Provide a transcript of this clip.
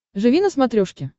живи на смотрешке